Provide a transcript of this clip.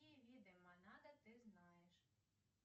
какие виды монада ты знаешь